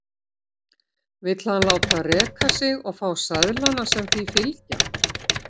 Vill hann láta reka sig og fá seðlana sem því fylgja?